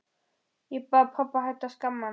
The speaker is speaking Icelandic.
Ég bað pabba að hætta að skamma hann.